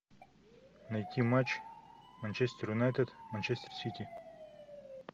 найти матч манчестер юнайтед манчестер сити